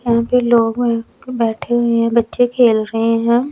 यहां पे लोग बैठे हुए हैं बच्चे खेल रहे हैं।